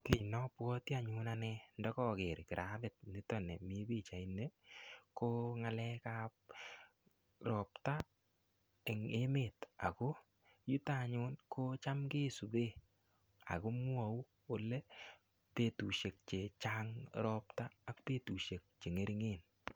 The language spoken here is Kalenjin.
Kii neobwoti ane ndokoker kirabit niton nimii pichaini ko nggalekab robta en eemet ak ko yuton anyun yutam kisiben ak komwou olee betushek chechang robta ak betushek che ngeringen.